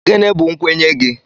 Gịnị bụ nkwenye gị?